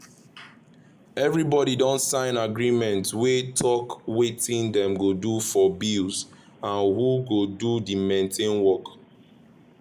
everybody don sign agreement wey talk wetin dem go do for bills and who go do the maintain work.